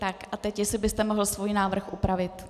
Tak, a teď jestli byste mohl svůj návrh upravit.